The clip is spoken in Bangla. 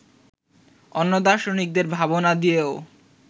অন্য দার্শনিকদের ভাবনা দিয়েও